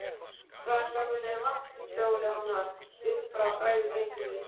Frænka mín er vaktstjóri þarna upp frá, sagði drengurinn.